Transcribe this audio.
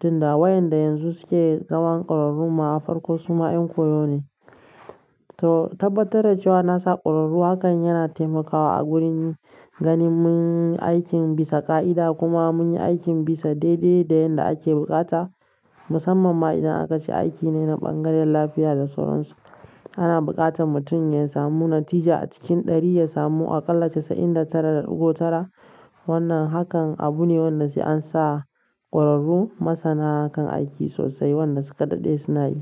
tunda wa inda yanzu suke zaman kwararrun ma farko suma ƴan koyo ne to tabbatar da cewa na sa ƙwararru hakan yana taimakawa a gurin ganin mun yi aikin bisa ƙa'ida kuma mun yi aikin bisa daidai da yadda ake buƙata. Gaskiya ni duk aikin da ya shiga hannuna ina so in tabbatar da cewa na yi shi a bisa inganci kuma a bisa gaskiya. Wannan hakan abu ne wanda sai an sa ƙwararru masana kan aiki sosai waɗanda su kaɗai suna yi.